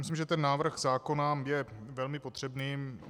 Myslím, že ten návrh zákona je velmi potřebný.